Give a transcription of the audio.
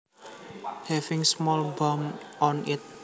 Having small bumps on it